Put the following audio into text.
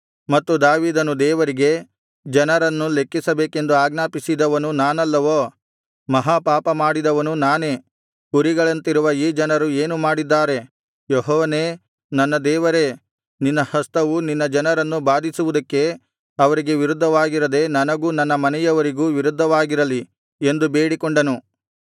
ಮತ್ತು ದಾವೀದನು ದೇವರಿಗೆ ಜನರನ್ನು ಲೆಕ್ಕಿಸಬೇಕೆಂದು ಆಜ್ಞಾಪಿಸಿದವನು ನಾನಲ್ಲವೋ ಮಹಾಪಾಪಮಾಡಿದವನು ನಾನೇ ಕುರಿಗಳಂತಿರುವ ಈ ಜನರು ಏನು ಮಾಡಿದ್ದಾರೆ ಯೆಹೋವನೇ ನನ್ನ ದೇವರೇ ನಿನ್ನ ಹಸ್ತವು ನಿನ್ನ ಜನರನ್ನು ಬಾಧಿಸುವುದಕ್ಕೆ ಅವರಿಗೆ ವಿರುದ್ಧವಾಗಿರದೆ ನನಗೂ ನನ್ನ ಮನೆಯವರಿಗೂ ವಿರುದ್ಧವಾಗಿರಲಿ ಎಂದು ಬೇಡಿಕೊಂಡನು